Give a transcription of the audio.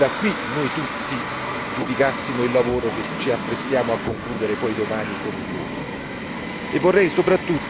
E dunque vorrei che da qui noi tutti giudicassimo il lavoro che ci apprestiamo a concludere poi domani con il voto.